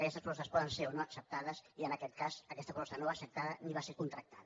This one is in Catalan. aquestes propostes poden ser o no acceptades i en aquest cas aquesta proposta no va ser accepta da ni va ser contractada